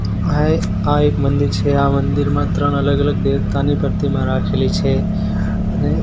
આ એ આ એક મંદિર છે આ મંદિરમાં ત્રણ અલગ અલગ દેવતાની પ્રતિમા રાખેલી છે અને--